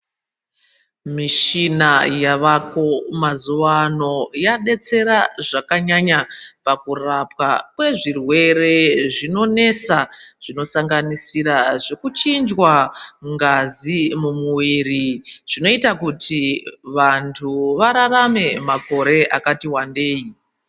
Mishina yavako mazuvano yadetsera zvakanyanya pakurapwa kwezvirwere zvinonesa zvinosanganisira zvekuchinjwa ngazi mumuviri zvinoita kuti vantu vararame makore akatiwandei.